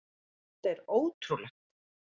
Þetta er ótrúlegt!